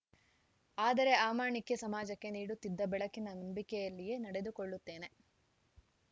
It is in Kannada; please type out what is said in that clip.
ಆದರೆ ಆ ಮಾಣಿಕ್ಯ ಸಮಾಜಕ್ಕೆ ನೀಡುತ್ತಿದ್ದ ಬೆಳಕಿನ ನಂಬಿಕೆಯಲ್ಲಿಯೇ ನಡೆದುಕೊಳ್ಳುತ್ತೇನೆ